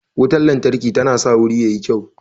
Wutan lantarki tana sa wuri yayi kyau